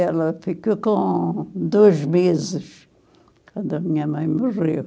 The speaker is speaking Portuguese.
Ela ficou com dois meses, quando a minha mãe morreu.